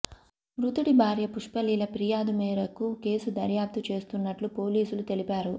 మృతుడి భార్య పుష్పలీల ఫిర్యాదు మేరకు కేసు దర్యాప్తు చేస్తున్నట్టు పోలీసులు తెలిపారు